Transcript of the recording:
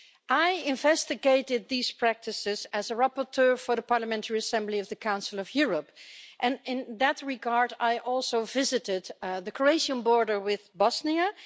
I investigated these practices as a rapporteur for the Parliamentary Assembly of the Council of Europe and, in that regard, I also visited the Croatian border with Bosnia.